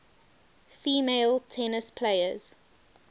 female tennis players